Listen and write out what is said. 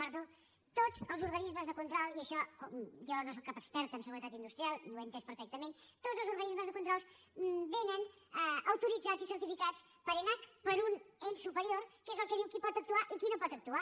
perdó tots els organismes de control i en això jo no sóc cap experta en seguretat industrial i ho he entès perfectament vénen autoritzats i certificats per enac per un ens superior que és el que diu qui pot actuar i qui no pot actuar